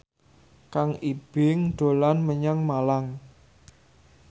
Kang Ibing dolan menyang Malang